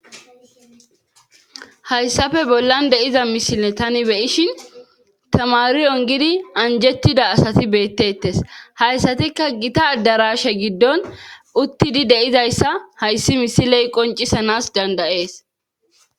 hayssafe bollan de7iza misle tani beyishin tamari ongidi anjettida asati beettettes hayssatikka gita addarashe giddon uttidi deizayssa hayssi misiley qoncisanas dandayees